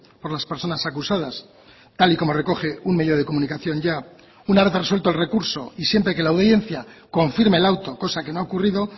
por las personas acusadas tal y como recoge un medio de comunicación ya una vez resuelto el recurso y siempre que la audiencia confirme el auto cosa que no ha ocurrido